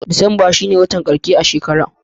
Disamba shi ne wata karshe a shekara.